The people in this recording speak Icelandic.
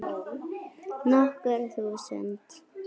Nokkur þúsund?